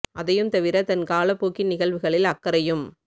அதையும்தவிர தன் காலப் போக்கின் நிகழ்வுகளில் அக்கறையும்